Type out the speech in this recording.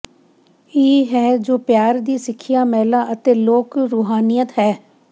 ਇਹ ਹੈ ਜੋ ਪਿਆਰ ਦੀ ਸਿੱਖਿਆ ਮਹਿਲਾ ਅਤੇ ਲੋਕ ਰੂਹਾਨੀਅਤ ਹੈ